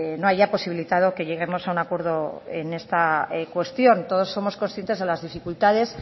no haya posibilitado que lleguemos a un acuerdo en esta cuestión todos somos conscientes de las dificultades